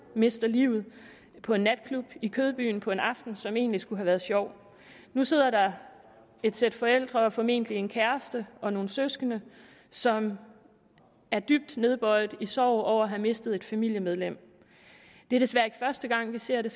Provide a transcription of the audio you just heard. mister livet på en natklub i kødbyen på en aften som egentlig skulle have været sjov nu sidder der et sæt forældre og formentlig en kæreste og nogle søskende som er dybt nedbøjede af sorg over at have mistet et familiemedlem det er desværre ikke første gang vi ser det